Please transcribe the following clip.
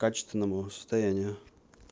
качественному состоянию